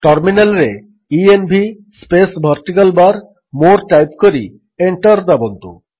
ଟର୍ମିନାଲ୍ରେ ENV space vertical bar more type କରି enter ଦାବନ୍ତୁ